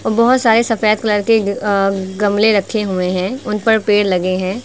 बहोत सारे सफेद कलर के अ गमले रखे हुए हैं उन पर पेड़ लगे हैं।